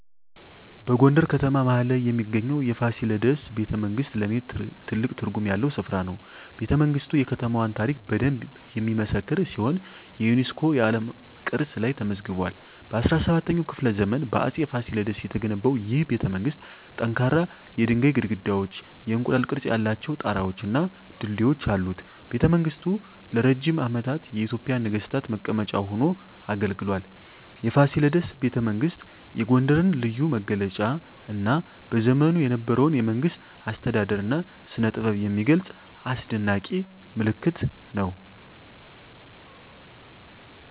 በጎንደር ከተማ መሀል ላይ የሚገኘው የፋሲለደስ ቤተመንግሥት ለኔ ትልቅ ትርጉም ያለው ስፍራ ነው። ቤተመንግስቱ የከተማዋን ታሪክ በደንብ የሚመሰክር ሲሆን የዩኔስኮ የዓለም ቅርስ ላይም ተመዝግቧል። በ17ኛው ክፍለ ዘመን በአፄ ፋሲለደስ የተገነባው ይህ ቤተመንግሥት ጠንካራ የድንጋይ ግድግዳዎች፣ የእንቁላል ቅርፅ ያላቸው ጣራወች እና ድልድዮች አሉት። ቤተመንግሥቱ ለረጅም ዓመታት የኢትዮጵያ ነገሥታት መቀመጫ ሆኖ አገልግሏል። የፋሲለደስ ቤተመንግሥት የጎንደርን ልዩ መገለጫ እና በዘመኑ የነበረውን የመንግሥት አስተዳደር እና ስነጥበብ የሚገልጽ አስደናቂ ምልክት ነው።